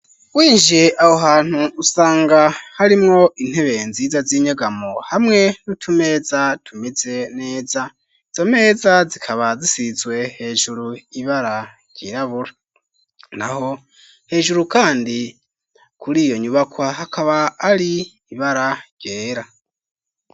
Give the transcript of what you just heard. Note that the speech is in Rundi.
Winjiye aho hantu usanga harimwo intebeye nziza z'inyagamo hamwe nutumeza tumeze neza zo meza zikaba zisizwe hejuru ibara ryirabura na ho hejuru, kandi kuri iyo nyubakwa hakaba ari ibara ryera.